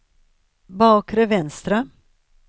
bakre vänstra